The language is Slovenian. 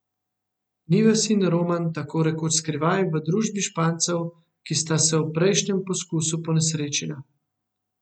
Nives in Roman tako rekoč skrivaj, v družbi Špancev, ki sta se ob prejšnjem poskusu ponesrečila.